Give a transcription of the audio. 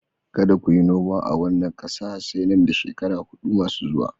Kada ku yi noma a wannan ƙasa sai nan da shekaru huɗu masu zuwa